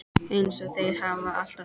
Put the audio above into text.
Eins og þeir hafa alltaf gert.